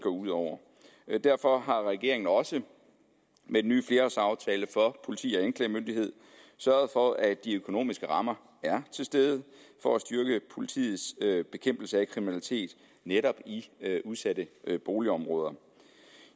ud over derfor har regeringen også med den nye flerårsaftale for politi og anklagemyndighed sørget for at de økonomiske rammer er til stede for at styrke politiets bekæmpelse af kriminalitet netop i udsatte boligområder